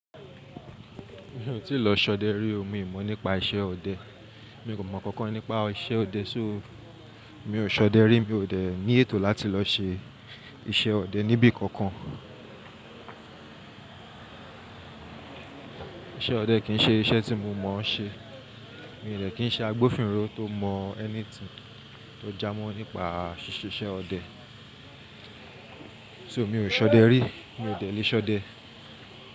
Mi ò tíì lọ ṣọdẹ rí, mi ò mọ̀ nípa iṣẹ́ ọdẹ. Mi kò mọ̀ kankan nípa iṣẹ́ ọdẹ, so mi ò ṣọdẹ rí, mi ò dẹ̀ ní ètò láti lọ ṣe iṣẹ́ ọdẹ níbí kankan. Iṣẹ́ ọdẹ kì í ṣe iṣẹ́ tí mo mọ̀ọ́ ṣe. Mi ò dẹ̀ kí n ṣe agbófinró tó mọ̀ anything tó já mọ́ nípa ṣíṣe iṣẹ́ ọdẹ. So mi ò ṣọdẹ rí, mi ò dẹ̀ lè ṣọdẹ.